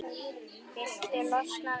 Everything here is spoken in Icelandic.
Viltu losna við-?